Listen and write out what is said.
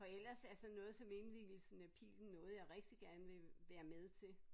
For ellers altså noget som indvigelsen af Pilen noget jeg rigtig gerne vil være med til